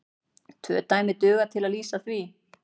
Tvö dæmi duga til að lýsa því.